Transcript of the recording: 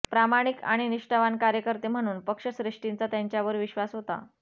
प्रामाणिक आणि निष्ठावान कार्यकर्ते म्हणून पक्षश्रेष्ठींचा त्यांच्यावर विश्वास होता